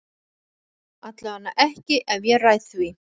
Allavega ekki ef ég ræð því.